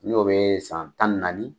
N'o bee san tan ni naani